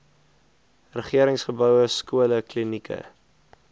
regeringsgeboue skole klinieke